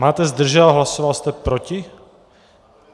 Máte zdržel a hlasoval jste proti?